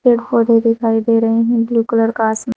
पेड़ पौधे दिखाई दे रही हैं ब्लू कलर का आसमा।